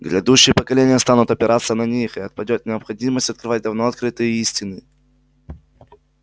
грядущие поколения станут опираться на них и отпадёт необходимость открывать давно открытые истины